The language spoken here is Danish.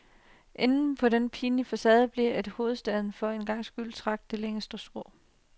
Enden på den pinlige farce blev, at hovedstaden for en gang skyld trak det længste strå.